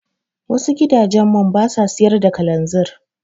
Wasu gidajen man basa siyar da kalanzir.